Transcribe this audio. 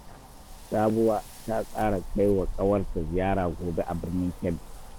Sabuwa ta tsara kai wa ƙawarta ziyara gobe a Birnin Kebbi